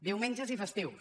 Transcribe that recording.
diumenges i festius